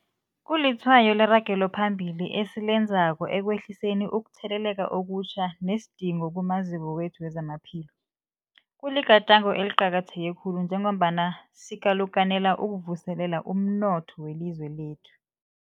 Kulitshwayo leragelo phambili esilenzako ekwehliseni ukutheleleka okutjha nesidingo kumaziko wethu wezamaphilo. Kuligadango eliqakatheke khulu njengombana sikalukanela ukuvuselela umnotho welizwe lekhethu.